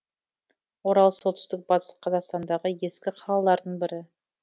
орал солтүстік батыс қазақстандағы ескі қалалардың бірі